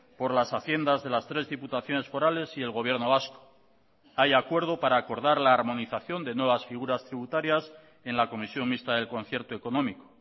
por las haciendas de las tres diputaciones forales y el gobierno vasco hay acuerdo para acordar la armonización de nuevas figuras tributarias en la comisión mixta del concierto económico